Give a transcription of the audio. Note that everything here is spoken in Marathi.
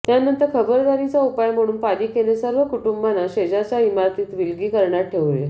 त्यानंतर खबरदारीचा उपाय म्हणून पालिकेने सर्व कुटुंबांना शेजारच्या इमारतीत विलगीकरणात ठेवले